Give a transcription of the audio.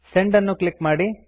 send ಅನ್ನು click ಮಾಡಿ